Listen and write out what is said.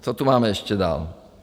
Co tu máme ještě dál?